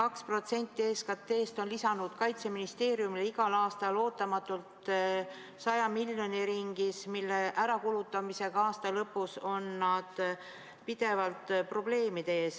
See 2% SKT-st on lisanud Kaitseministeeriumile igal aastal ootamatult umbes 100 miljonit eurot, mille ärakulutamisega on nad aasta lõpus pidevalt probleemide ees.